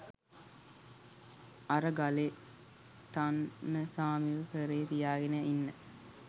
අර ගලෙතන්නසාමිව කරෙ තියාගෙන ඉන්න